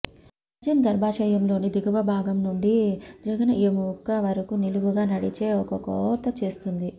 surgeon గర్భాశయంలోని దిగువ భాగం నుండి జఘన ఎముక వరకు నిలువుగా నడిచే ఒక కోత చేస్తుంది